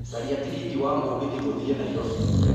caria tigiti wa mũgithi gũthiĩ nairobi